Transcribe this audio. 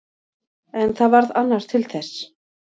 En það varð annar til þess.